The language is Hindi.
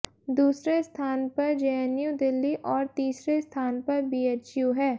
दूसरे स्थान पर जेएनयू दिल्ली और तीसरे स्थान पर बीएचयू है